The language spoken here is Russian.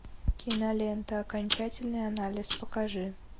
кинолента окончательный анализ покажи